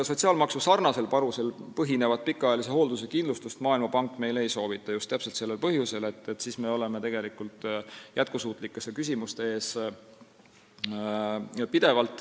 Sotsiaalmaksuga sarnasel panusel põhinevat pikaajalise hoolduse kindlustust Maailmapank meile ei soovita, just täpselt sellel põhjusel, et siis me oleme tegelikult pidevalt jätkusuutlikkuse küsimuste ees.